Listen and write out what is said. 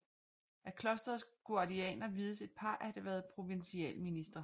Af Klosterets guardianer vides et par at have været provincialministre